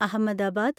Ahmedabad